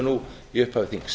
nú í upphafi þings